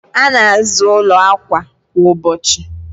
a na-aza ụlọ akwa kwa ụbọchị.